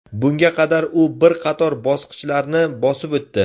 Bunga qadar u bir qator bosqichlarni bosib o‘tdi.